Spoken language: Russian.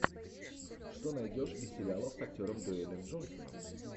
что найдешь из сериалов с актером дуэйном джонсоном